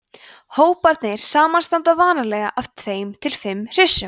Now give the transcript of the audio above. hóparnir samanstanda vanalega af tveir til fimm hryssum